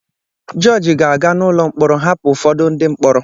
Jọọjị ga-aga n'ụlọ mkpọrọ hapụ ụfọdụ ndị mkpọrọ.